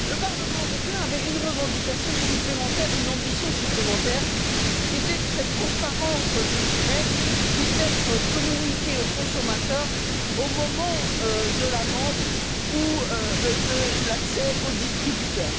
Le Parlement européen avait une revendication supplémentaire, une ambition supplémentaire, qui était que cette transparence des frais puisse être communiquée au consommateur au moment de la vente ou de l'accès au distributeur.